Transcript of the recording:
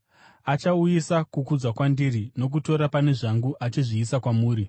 Achauyisa kukudzwa kwandiri nokutora pane zvangu achizvizivisa kwamuri.